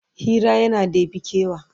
Hira yana ɗebe kewa